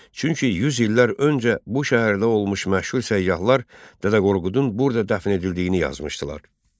Çünki yüz illər öncə bu şəhərdə olmuş məşhur səyyahlar Dədə Qorqudun burada dəfn edildiyini yazmışdılar.